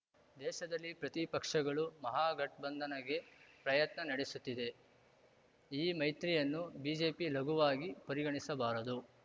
ದೇಶದಲ್ಲಿ ಪ್ರತಿಪಕ್ಷಗಳು ಮಹಾಗಠಬಂಧನ್‌ಗೆ ಪ್ರಯತ್ನ ನಡೆಸುತ್ತಿದೆ ಈ ಮೈತ್ರಿಯನ್ನು ಬಿಜೆಪಿ ಲಘುವಾಗಿ ಪರಿಗಣಿಸಬಾರದು